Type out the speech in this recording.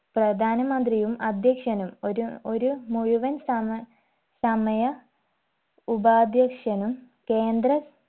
പ്രധാനമന്ത്രിയും അധ്യക്ഷനും ഒരു ഒരു മുഴുവൻ സമ സമയ ഉപാധ്യക്ഷനും കേന്ദ്ര